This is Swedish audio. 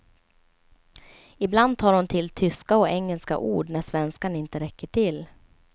Ibland tar hon till tyska och engelska ord när svenskan inte räcker till.